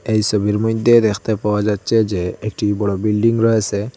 এই সবির মইধ্যে দেখতে পাওয়া যাচ্ছে যে একটি বড় বিল্ডিং রয়েসে।